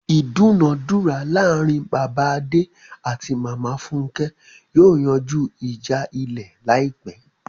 Ìdúnàádúrà láàrin Bàbá Adé àti Màmá Fúnkẹ́ yóò yanjú ìjà Ilẹ̀ láìpẹ́.